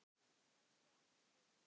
Elsku amma Steina mín.